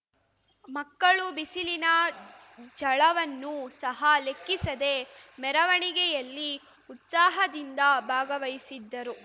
ಮಕ್ಕಳು ಬಿಸಿಲಿನ ಝಳವನ್ನು ಸಹ ಲೆಕ್ಕಿಸದೇ ಮೆರವಣಿಗೆಯಲ್ಲಿ ಉತ್ಸಾಹದಿಂದ ಭಾಗವಹಿಸಿದ್ದರು